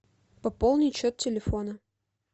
пополнить счет телефона